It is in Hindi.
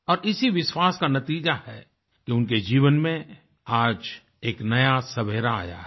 और इसी विश्वास का नतीज़ा है कि उनके जीवन में आज एक नया सवेरा आया है